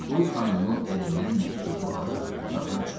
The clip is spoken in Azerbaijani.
Qul xanımın əlindən məktubu alıb otaqdan çıxdı.